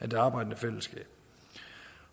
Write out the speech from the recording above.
det arbejdende fællesskab